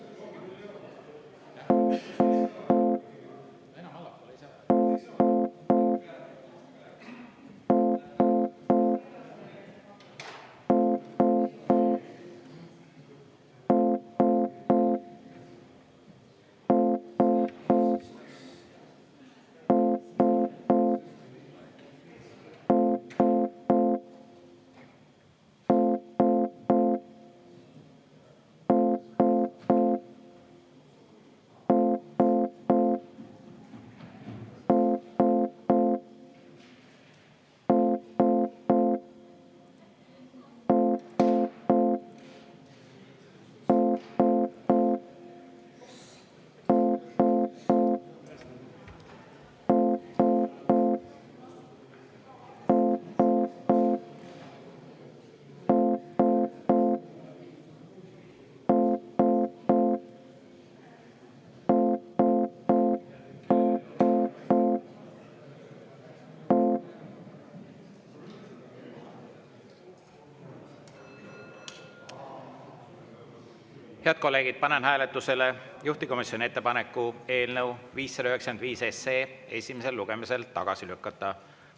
Head kolleegid, panen hääletusele juhtivkomisjoni ettepaneku eelnõu 595 esimesel lugemisel tagasi lükata.